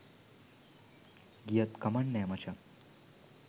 ගියත් කමක් නෑ මචන්..